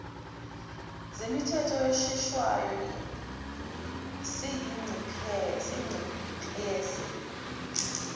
zemithetho eshaywayo seyinciphise